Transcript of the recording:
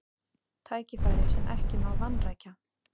Tækifæri sem ekki má vanrækja